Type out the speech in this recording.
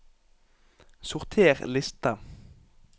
Sorter liste